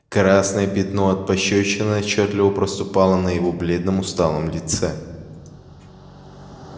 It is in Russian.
красное пятно от пощёчины отчётливо проступило на его бледном усталом лице